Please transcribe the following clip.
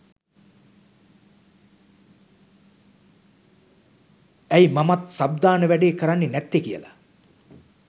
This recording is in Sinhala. ඇයි මමත් සබ් දාන වැඩේ කරන්නේ නැත්තේ කියලා